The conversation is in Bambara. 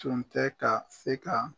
Tun tɛ ka se ka.